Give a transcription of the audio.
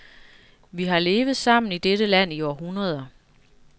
Vi har levet sammen i dette land i århundreder.